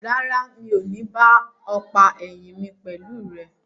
Rárá, mi o ní ba ọ̀pá ẹ̀yìn mi pẹ̀lú rẹ.